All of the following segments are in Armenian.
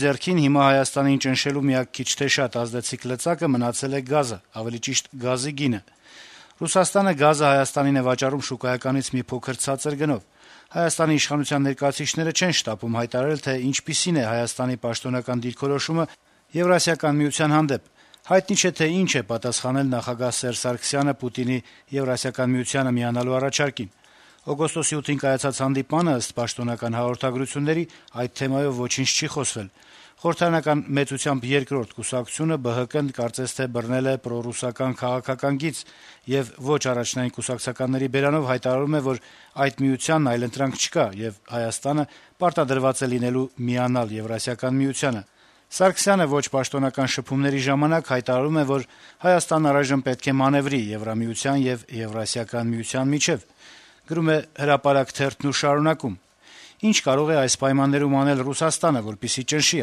ձեռքին Հայաստանին ճնշելու միակ քիչ թե շատ ազդեցիկ լծակը մնացել է գազը, ավելի ճիշտ՝ գազի գինը: Ռուսաստանը գազը Հայաստանին է վաճառում շուկայականից մի փոքր ցածր գնով: Հայաստանի իշխանության ներկայացուցիչները չեն շտապում հայտարարել, թե ինչպիսին է Հայաստանի պաշտոնական դիրքորոշումը Եվրասիական միության հարցում: Հայտնի չէ, թե ինչ է պատասխանել նախագահ Սերժ Սարգսյանը՝ Պուտինի Եվրասիական միությանը միանալու առաջարկին: Օգոստոսի 8-ին կայացած հանդիպմանը, ըստ պաշտոնական հաղորդագրությունների, այդ թեմայով ոչինչ չի խոսվել: Խորհրդարանական՝ մեծությամբ երկրորդ կուսակցությունը՝ ԲՀԿ-ն, կարծես թե բռնել է պրոռուսական քաղաքական գիծ եւ ոչ առաջնային կուսակցականների բերանով հայտարարում է, որ այդ միությանն այլընտրանք չկա, եւ Հայաստանը պարտադրված է լինելու միանալ Եվրասիական միությանը: Սարգսյանը ոչ պաշտոնական շփումների ժամանակ հայտարարում է, որ Հայաստանն առայժմ պետք է մանեւրի Եվրամիության եւ Եվրասիական միության միջեւ»: Թերթի մեկնաբանը եզրափակում է. - «Ինչ կարող է այս պայմաններում անել Ռուսաստանը, որպեսզի ճնշի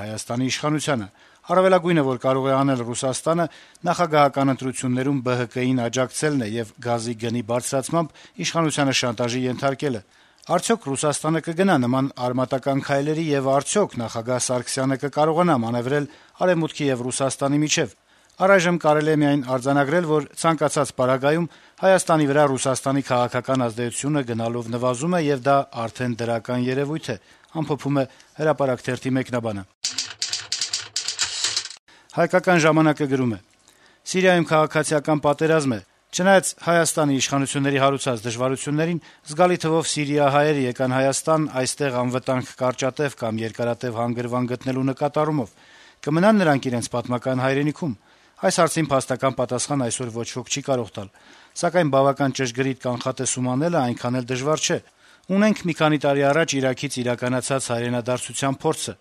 Հայաստանի իշխանությանը: Առավելագույնը, որ կարող է անել Ռուսաստանը, նախագահական ընտրություններում ԲՀԿ-ին աջակցելն է եւ գազի գնի բարձրացմամբ իշխանությանը շանտաժի ենթարկելը: Արդյո՞ք Ռուսաստանը կգնա նման արմատական քայլերի, եւ արդյո՞ք նախագահ Սարգսյանը կկարողանա մանեւրել Արեւմուտքի եւ Ռուսաստանի միջեւ, այս պահին դժվար է կանխատեսել: Առայժմ կարելի է արձանագրել, որ ցանկացած պարագայում Հայաստանի վրա Ռուսաստանի քաղաքական ազդեցությունը գնալով նվազում է, եւ դա արդեն դրական երեւույթ է»: «Հայկական ժամանակ»-ը գրում է. - «Սիրիայում քաղաքացիական պատերազմ է: Չնայած հենց ՀՀ իշխանությունների հարուցած դժվարություններին, զգալի թվով սիրիահայեր եկան Հայաստան` այստեղ անվտանգ կարճատեւ կամ երկարատեւ հանգրվան գտնելու նկատառումով: Կմնա՞ն նրանք իրենց պատմական հայրենիքում: Այս հարցին փաստական պատասխան այսօր ոչ ոք չի կարող տալ, սակայն բավական ճշգրիտ կանխատեսում անելը այնքան էլ դժվար չէ: Ունենք մի քանի տարի առաջ Իրաքից իրականացած հայրենադարձության փորձը: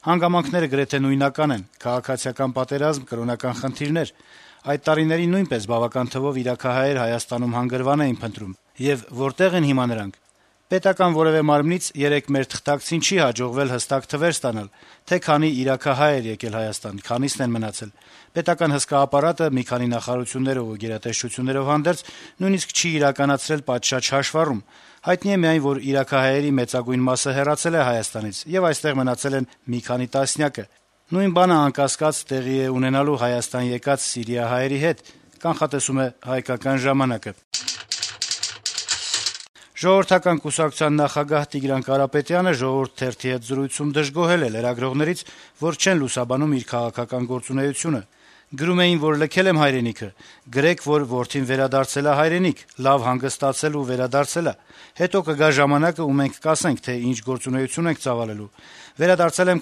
Հանգամանքները գրեթե նույնական են` քաղաքացիական պատերազմ, կրոնական խնդիրներ: Այդ տարիներին նույնպես բավական թվով իրաքահայեր Հայաստանում հանգրվան էին փնտրում: Եվ որտե՞ղ են հիմա նրանք: Պետական հսկա ապարատը մի քանի նախարարություններով եւ գերատեսչություններով հանդերձ նույնիսկ չի իրականացրել պատշաճ հաշվառում: Հայտնի է միայն, որ իրաքահայերի մեծագույն մասը հեռացել է Հայաստանից, եւ այստեղ մնացել են մի քանի տասնյակը, եթե, իհարկե, մնացել են: Նույն բանը անկասկած տեղի է ունենալու Հայաստան եկած սիրիահայերի հետ»: Ժողովրդական կուսակցության նախագահ Տիգրան Կարապետյանը «Ժողովուրդ» թերթի հետ զրույցում դժգոհել է լրագրողներից, որ չեն լուսաբանում իր քաղաքական գործունեությունը: «Գրում էին, որ լքել եմ հայրենիքը: Գրե’ք, որ որդին վերադարձել ա հայրենիք, լավ հանգստացել ու վերադարձել ա: Հետո կգա ժամանակը, ու մենք կասենք, թե ինչ գործունեություն ենք ծավալելու: Վերադարձել եմ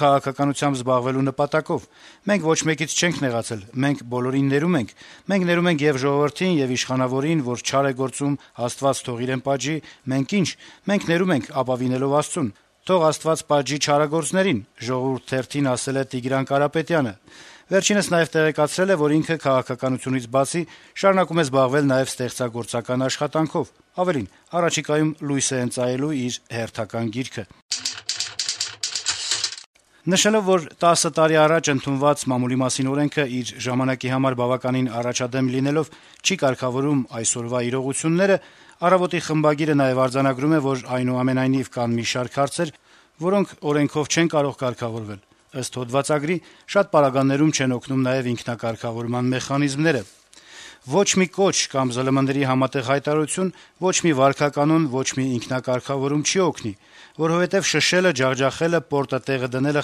քաղաքականությամբ զբաղվելու նպատակով: Մենք ոչ մեկից չենք նեղացել: Մենք բոլորին ներում ենք: Մենք ներում ենք ե’ւ ժողովրդին, ե’ւ իշխանավորին, որ չար է գործում, Աստված թող իրեն պատժի, մենք ի՞նչ, մենք ներում ենք` ապավինելով Աստծուն: Թող Աստված պատժի չարագործներին», - ասել է Կարապետյանը: Նա նաեւ տեղեկացրել է, որ քաղաքականությունից բացի, շարունակում է զբաղվել նաեւ ստեղծագործական աշխատանքով: Ավելին` առաջիկայում լույս է ընծայելու իր հերթական գիրքը: Նշելով, որ 10 տարի առաջ ընդունված «Մամուլի մասին» օրենքը իր ժամանակի համար բավականին առաջադեմ լինելով չի կարգավորում այսօրվա իրողությունները` «Առավոտ»-ի խմբագիրը նաեւ արձանագրում է, որ կան, այնուամենայնիվ, մի շարք հարցեր, որոնք օրենքով չեն կարող կարգավորվել: Շատ պարագաներում, ըստ հոդվածագրի, չեն օգնում նաեւ ինքնակարգավորման մեխանիզմները - «Ոչ մի կոչ կամ ԶԼՄ-ների համատեղ հայտարարություն, ոչ մի վարքականոն, ոչ մի ինքնակարգավարում չի օգնի, որովհետեւ «շշելը», «ջախջախելը», «պորտը տեղը դնելը»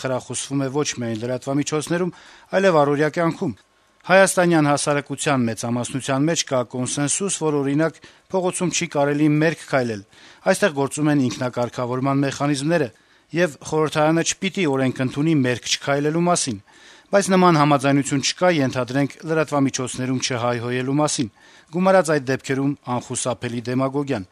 խրախուսվում է ոչ միայն լրատվամիջոցներում, այլեւ առօրյա կյանքում: Հայաստանյան հասարակության մեծամասնություն մեջ կա կոնսենսուս, որ, օրինակ, փողոցում չի կարելի մերկ քայլել` այստեղ գործում են ինքնակարգավորման մեխանիզմները, եւ խորհրդարանը չպիտի օրենք ընդունի` մերկ չքայլելու մասին: Բայց նման համաձայնություն չկա` ենթադրենք, լրատվամիջոցներում չհայհոյելու մասին: Գումարած` այդ դեպքերում անխուսափելի դեմագոգիան»: